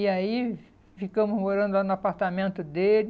E aí, ficamos morando lá no apartamento dele,